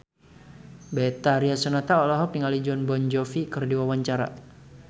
Betharia Sonata olohok ningali Jon Bon Jovi keur diwawancara